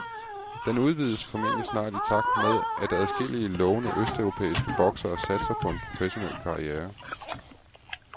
Den udvides formentlig snart i takt med at adskillige, lovende østeuropæiske boksere satser på en professionel karriere.